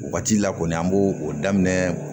Waati la kɔni an b'o o daminɛ